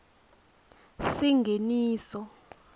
singeniso